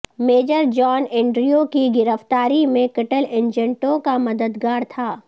major John Andrew کی گرفتاری میں کٹل ایجنٹوں کا مددگار تھا